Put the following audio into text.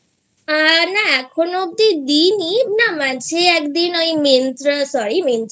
আ না এখনো অবধি দিই নি না মাঝে একদিন Myntra Sorry